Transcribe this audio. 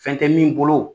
Fɛn tɛ min bolo